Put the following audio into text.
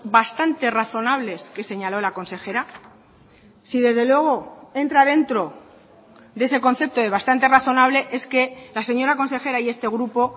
bastante razonables que señaló la consejera si desde luego entra dentro de ese concepto de bastante razonable es que la señora consejera y este grupo